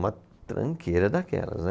Uma tranqueira daquelas, né.